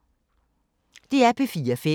DR P4 Fælles